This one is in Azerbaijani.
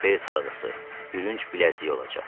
Bel sarğısı, bürünc bilərzik olacaq.